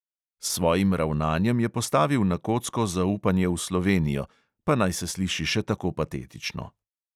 S svojim ravnanjem je postavil na kocko zaupanje v slovenijo, pa naj se sliši še tako patetično.